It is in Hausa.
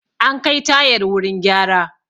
An kai tayar wurin gyara